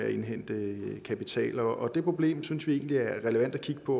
at indhente kapital og det problem synes vi egentlig er relevant at kigge på